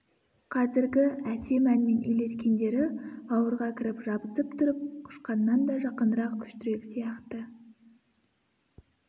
қазіргі әсем әнмен үйлескендері бауырға кіріп жабысып тұрып құшқаннан да жақынырақ күштірек сияқты